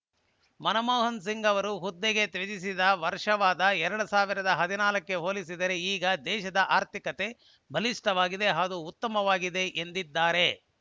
ಮನಮೋಹನ ಸಿಂಗ್‌ ಅವರು ಹುದ್ದೆಗೆ ತ್ಯಜಿಸಿದ ವರ್ಷವಾದ ಎರಡ್ ಸಾವಿರದ ಹದಿನಾಲ್ಕ ಕ್ಕೆ ಹೋಲಿಸಿದರೆ ಈಗ ದೇಶದ ಆರ್ಥಿಕತೆ ಬಲಿಷ್ಠವಾಗಿದೆ ಹಾಗೂ ಉತ್ತಮವಾಗಿದೆ ಎಂದಿದ್ದಾರೆ